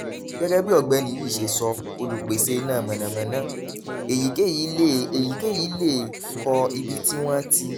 gẹ́gẹ́ bí ọ̀gbẹ́ni yìí ṣe sọ olùpèsè iná mànàmáná èyíkéyìí lè èyíkéyìí lè kọ́ ibi tí wọ́n ti